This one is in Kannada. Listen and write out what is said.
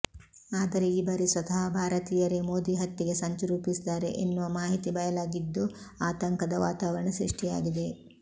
ಆದರೆ ಈ ಬಾರಿ ಸ್ವತಃ ಭಾರತೀಯರೇ ಮೋದಿ ಹತ್ಯೆಗೆ ಸಂಚು ರೂಪಿಸಿದ್ದಾರೆ ಎನ್ನುವ ಮಾಹಿತಿ ಬಯಲಾಗಿದ್ದು ಆತಂಕದ ವಾತಾವರಂಣ ಸೃಷ್ಟಿಯಾಗಿದೆ